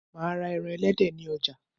Máa ra eran elédè ni ojà